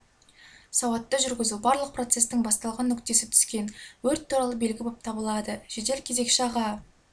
сауатты жүргізу барлық процестің басталған нүктесі түскен өрт туралы белгі болып табылады жедел кезекші аға